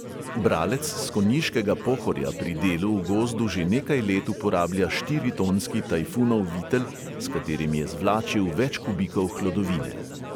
Bralec s konjiškega pohorja pri delu v gozdu že nekaj let uporablja štiritonski tajfunov vitel, s katerim je zvlačil več kubikov hlodovine.